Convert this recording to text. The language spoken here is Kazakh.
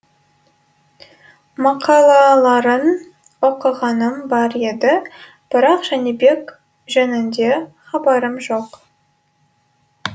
мақалаларын оқығаным бар еді бірақ жәнібек жөнінде хабарым жоқ